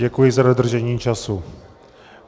Děkuji za dodržení času.